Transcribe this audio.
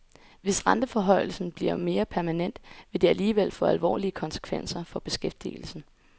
Hvis renteforhøjelsen bliver mere permanent, vil det alligevel få alvorlige konsekvenser for beskæftigelsen.